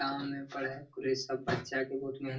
गाँव में पढ़ाई पूरे सब बच्चा के बहुत मेहनत --